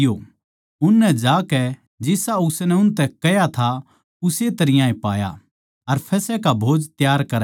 उननै जाकै जिसा उसनै उनतै कह्या था उस्से तरियां पाया अर फसह का भोज त्यार करया